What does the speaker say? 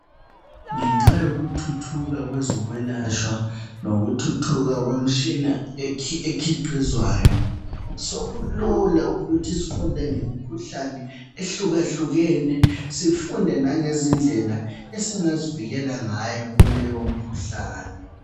Ngenxa yokuthuthuka kwezokwelatshwa lokuthuthuka komtshina ekhiqizwayo sokulula ukuthi sifunde ngemikhuhlane ehlukahlukene sifunde langezindlela esingazivikela ngayo kuleyo mikhuhlane.